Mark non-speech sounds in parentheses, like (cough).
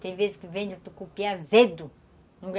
Tem vezes que vende um tucupi azedo (unintelligible)